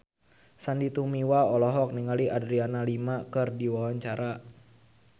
Sandy Tumiwa olohok ningali Adriana Lima keur diwawancara